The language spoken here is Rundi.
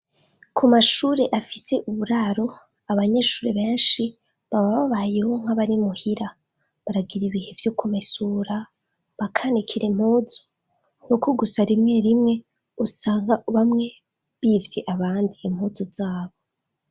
Ku mashure afise uburaro abanyeshuri benshi baba babayeho nk'abarimuhira baragira ibihe vyo komisura bakanikira mpuzu nuko gusa rimwe rimwe usanga bamwe bivye abandi impuzu zabo.